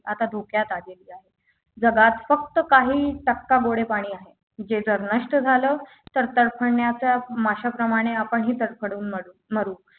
आता धोक्यात आलेली आहे जगात फक्त काही टक्का गोडे पाणी आहे जे जर नष्ट झालं तर तडफडण्याचा माशा प्रमाणे आपणही तडफडून मरु मरू